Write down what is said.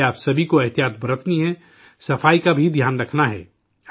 اس لیے آپ سبھی کو احتیاط برتنی ہے، صفائی کا بھی دھیان رکھنا ہے